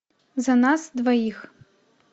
за нас двоих